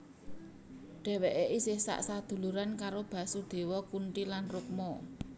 Dhèwèké isih sak saduluran karo Basudewa Kunti lan Rukma